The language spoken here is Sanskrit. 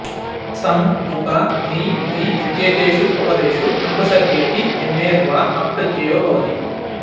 सम् उप नि वि इत्येतेषु उपपदेषु अनुपसर्गे ऽपि यमेर् वा अप् प्रत्ययो भवति